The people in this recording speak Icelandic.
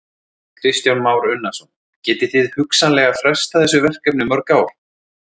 Kristján Már Unnarsson: Gæti það hugsanlega frestað þessu verkefni um mörg ár?